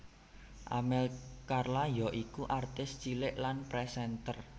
Amel Carla yaiku artis cilik lan présènter